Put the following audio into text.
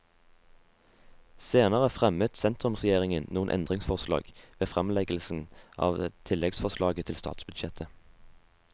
Senere fremmet sentrumsregjeringen noen endringsforslag ved fremleggelsen av tilleggsforslaget til statsbudsjettet.